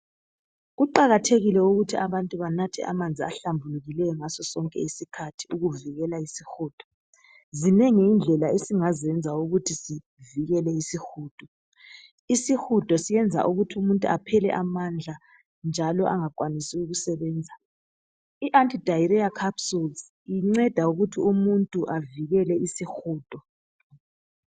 Kuqakathekile ukuthi abantu banathe amanzi ahlambulukileyo ngasosonke isikhathi ukuvikela isihudo. Zinengi indlela esingazenza ukuthi zivekele isihudo. Isihudo iyenza ukuthi umuntu aphele amandla njalo angakwanisi ukusebenza. I Anti diarrhoea capsules inceda ukuthi umuntu avikele isihudo.